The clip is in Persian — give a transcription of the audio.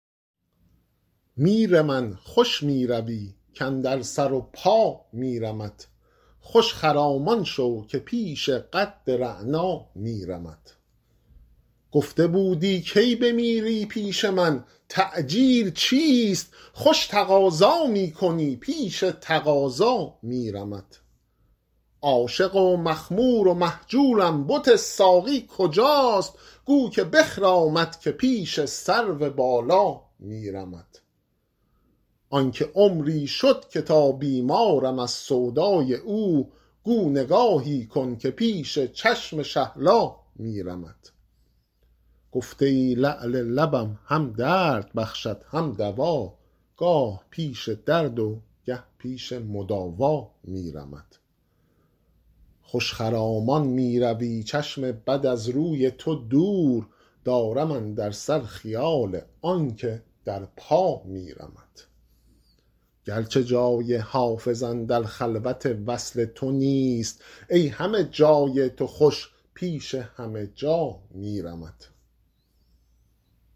میر من خوش می روی کاندر سر و پا میرمت خوش خرامان شو که پیش قد رعنا میرمت گفته بودی کی بمیری پیش من تعجیل چیست خوش تقاضا می کنی پیش تقاضا میرمت عاشق و مخمور و مهجورم بت ساقی کجاست گو که بخرامد که پیش سرو بالا میرمت آن که عمری شد که تا بیمارم از سودای او گو نگاهی کن که پیش چشم شهلا میرمت گفته ای لعل لبم هم درد بخشد هم دوا گاه پیش درد و گه پیش مداوا میرمت خوش خرامان می روی چشم بد از روی تو دور دارم اندر سر خیال آن که در پا میرمت گرچه جای حافظ اندر خلوت وصل تو نیست ای همه جای تو خوش پیش همه جا میرمت